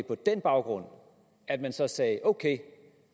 på den baggrund at man så sagde ok